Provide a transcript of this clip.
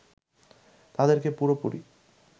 তাদেরকে পুরোপুরি